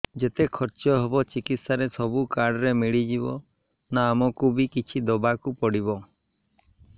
ଯେତେ ଖର୍ଚ ହେବ ଚିକିତ୍ସା ରେ ସବୁ କାର୍ଡ ରେ ମିଳିଯିବ ନା ଆମକୁ ବି କିଛି ଦବାକୁ ପଡିବ